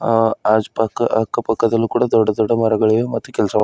ಅ ಆಜ್ ಪಕ್ಕಾ ಅಕ್ಕ ಪಕ್ಕದಲ್ಲೂ ಕೂಡ ದೊಡ್ಡ ದೊಡ್ಡ ಮರಗಳಿವೆ ಮತ್ತು ಕೆಲಸ --